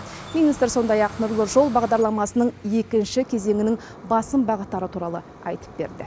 министр сондай ақ нұрлы жол бағдарламасының екінші кезеңінің басым бағыттары туралы айтып берді